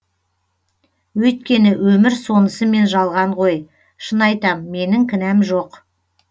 өйткені өмір сонысымен жалған ғой шын айтам менің кінәм жоқ